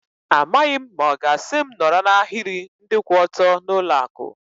Amaghị m ma ọ ga-asị m nọrọ n'ahiri ndị kwụ ọtọ n'ụlọ akụ.